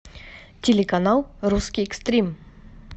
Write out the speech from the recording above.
телеканал русский экстрим